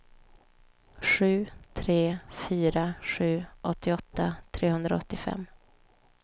sju tre fyra sju åttioåtta trehundraåttiofem